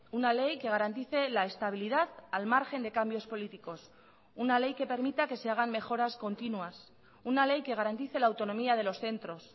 una ley que garantice la estabilidad al margen de cambios políticos una ley que permita que se hagan mejoras continuas una ley que garantice la autonomía de los centros